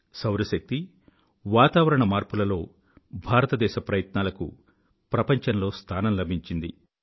సౌర శక్తి వాతావరణ మార్పులలో భారతదేశ ప్రయత్నాలకు ప్రపంచంలో స్థానం లభించింది